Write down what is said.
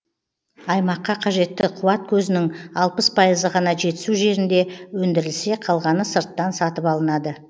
аймаққа қажетті қуат көзінің алпыс пайызы ғана жетісу жерінде өндірілсе қалғаны сырттан сатып алынады